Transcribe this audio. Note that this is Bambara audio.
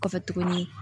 Kɔfɛ tuguni